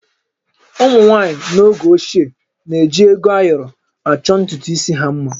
Ụmụ nwaanyị n'oge ochie na-eji ego ayọrọ achọ ntutu isi ha mma